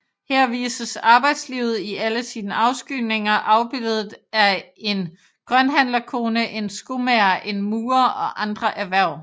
Her vises arbejdslivet i alle sine afskygninger afbildet er en grønthandlerkone en skomager en murer og andre erhverv